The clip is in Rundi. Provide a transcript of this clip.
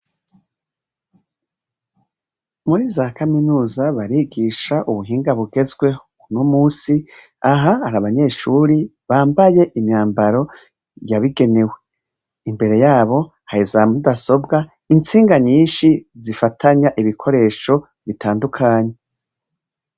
Muri za kaminuza barigisha ubuhinga bugezweho. Uno musi aha hari abanyeshure bambaye imyambaro yabigenewe. Imbere yabo hari za mudasobwa, intsinga nyinshi zifatanya ibikoresho bitandukanye.